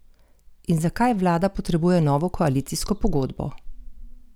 In zakaj vlada potrebuje novo koalicijsko pogodbo?